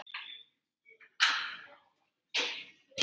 Ég er nafni hans.